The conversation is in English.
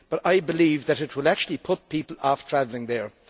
However, I believe that it will actually put people off travelling there.